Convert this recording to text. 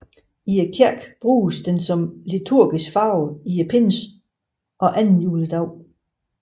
I kirken bruges den som liturgisk farve i pinsen og anden juledag